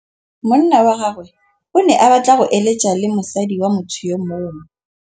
Monna wa gagwe o ne a batla go êlêtsa le mosadi wa motho yo mongwe.